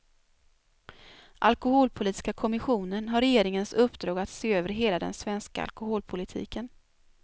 Alkoholpolitiska kommissionen har regeringens uppdrag att se över hela den svenska alkoholpolitiken.